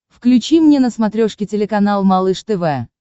включи мне на смотрешке телеканал малыш тв